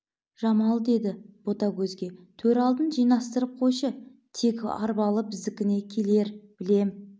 жамал деді ботагөзге төр алдын жинастырып қойшы тегі арбалы біздікіне келер білем